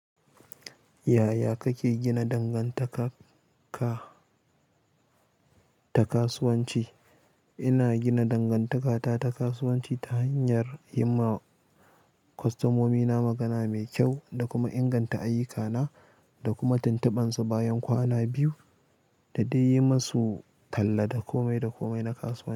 Yaya kake gina dangantaka ta kasuwanci? Ina gina dangantaka ta ta kasuwanci ta hanyar yi ma kwastomomi na magana mai kyau da kuma inganta ayyuka na da kuma tuntuɓan su bayan kwana biyu da dai yi musu talla da komai da komai na kasuwanci.